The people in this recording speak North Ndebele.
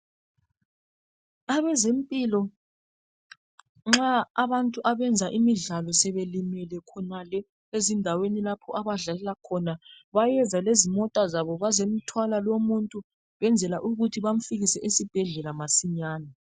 Abezempilo nxa abantu abenza imidlalo sebelimele khonale ezindaweni lapho abadlalela khona bayeza lezimota zabo bazomthwala lomuntu ukwenzela ukuthi bamfikise esibhedlela masinyane.